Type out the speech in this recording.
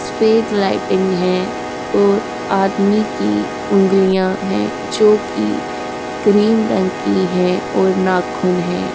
सफ़ेद लाइटिंग है और आदमी की उंगलियां है जोकि क्रीम रंग की हैं और नाखून हैं।